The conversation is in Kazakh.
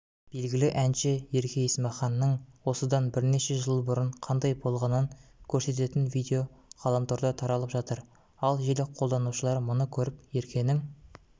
белгілі әнші ерке есмаханның осыдан бірнеше жыл бұрын қандай болғанын көрсететін видео ғаламторда таралып жатыр ал желі қолданушылары мұны көріп еркенің